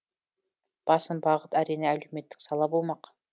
басым бағыт әрине әлеуметтік сала болмақ